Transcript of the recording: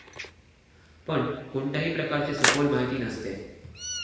पण कोणत्याही प्रकारची सखोल माहिती नसते